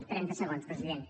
trenta segons president